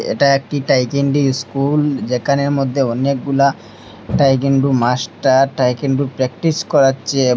এটা একটি taekwondo school যেখানের মদ্যে অনেকগুলা টাইকেন্ডু মাস্টার টাইকেন্ডু প্র্যাকটিস করাচ্ছে।